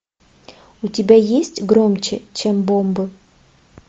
у тебя есть громче чем бомбы